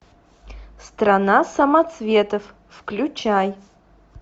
страна самоцветов включай